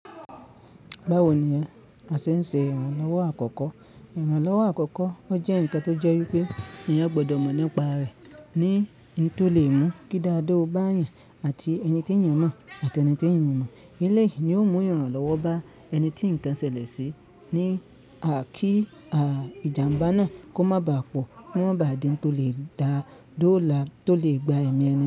Báwo ni a ṣe ń ṣe ìrànlọ́wọ́ àkọ́kọ́? Ìrànlọ́wọ́ àkọ́kọ́ o jẹ́ ǹkan tó jẹ́ wípé eeyan gbọdọ̀ mọ̀ nípa rẹ̀, ní n tò lè mú kí daadaa o báyan àti ẹni tí èèyàn mọ̀ àti ẹni tí èèyàn o mọ̀. Eleyi ni ó mú ìrànlọ́wọ́ bá ẹni tí ǹkan ṣẹlẹ̀ sí ní kí ìjàǹbá náà kó má bà pọ̀, kó má bà di n tó lè dáà, dó lá, tó lè gba ẹ̀mí ẹni.